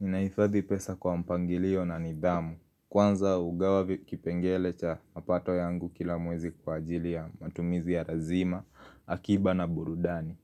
Ninahifadhi pesa kwa mpangilio na nidhamu. Kwanza hugawa kipengele cha mapato yangu kila mwezi kwa ajili ya matumizi ya lazima, akiba na burudani.